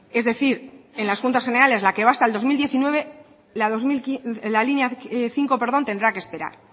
es decir en las juntas generales la que va hasta el dos mil diecinueve la línea cinco tendrá que esperar